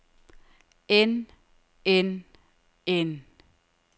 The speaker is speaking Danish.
end end end